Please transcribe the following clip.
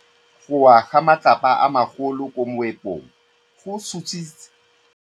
Go wa ga matlapa a magolo ko moepong go tshositse batho ba le bantsi.